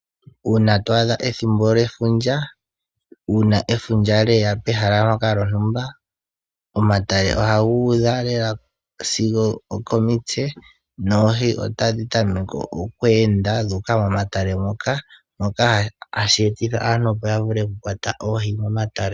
Uuna to adha efundja lyeya pehala ndoka lyontumba, omatale ohaga udha lela sigo okomitse. Oohi ohadhi tameke oku ende dhuuka momatale moka, shoka hashi etitha aantu yakwate oohi.